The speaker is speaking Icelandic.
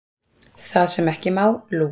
Það sem ekki má, Lúk.